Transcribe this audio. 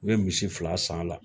U ye misi fila san a la